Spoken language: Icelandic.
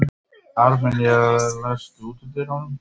Armenía, læstu útidyrunum.